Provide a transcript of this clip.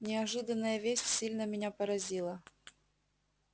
неожиданная весть сильно меня поразила